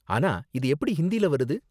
ஆனா இது எப்படி ஹிந்தில வருது?